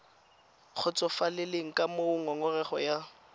kgotsofalele ka moo ngongorego ya